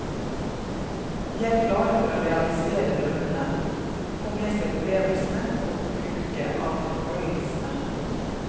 De er klare for å realisere drømmene, få med seg opplevelsene og bruke av følelsene.